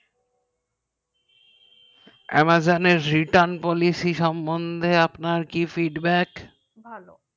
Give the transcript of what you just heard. amazon এর ration policy সমন্ধে আপনার কি fightback ভালো